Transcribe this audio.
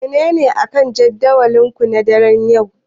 Menene akan jadawalinku na daren yau?